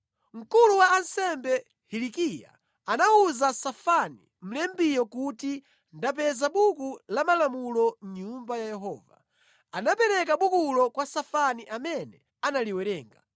Mkulu wa ansembe Hilikiya anawuza Safani, mlembiyo kuti, “Ndapeza Buku la Malamulo mʼNyumba ya Yehova.” Anapereka bukulo kwa Safani amene analiwerenga.